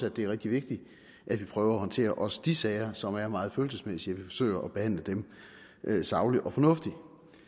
at det er rigtig vigtigt at vi prøver at håndtere også de sager som er meget følelsesmæssige vi forsøger at behandle dem sagligt og fornuftigt